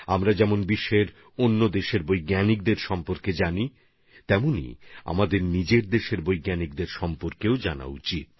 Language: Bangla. আমরা যেভাবে পৃথিবীর অন্য দেশের বিজ্ঞানীদের বিষয়ে জানি সেভাবে আমাদের ভারতের বিজ্ঞানীদের বিষয়েও জানতে হবে